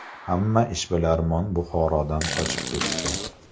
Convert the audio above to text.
Hamma ishbilarmon Buxorodan ko‘chib ketdi.